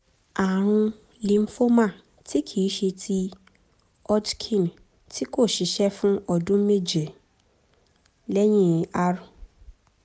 ààrùn lymphoma tí kì í ṣe ti hodgkin tí kò ṣiṣẹ́ fún ọdún méje (lẹ́yìn r-chop